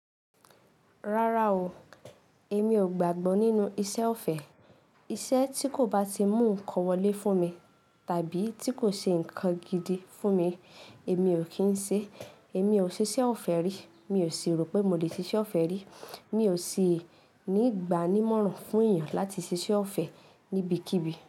Rárá o, èmi ò gbàgbọ́ nínú ìṣe ọ̀fẹ́. Iṣẹ́ tí kò bá ti mú nǹkan wọlé fún mi, tàbí tí kò ṣe nǹkan gidi fún mi, èmi ò kí ń ṣe. Èmi ò ṣiṣẹ́ ọ̀fẹ́ rí. Mi ò sì rò pé mo lè ṣiṣẹ́ ọ̀fẹ́ rí. Mi ò sì ní ìgbani mọ́ran fún èèyàn láti ṣiṣẹ́ ọ̀fẹ́ níbikíbi.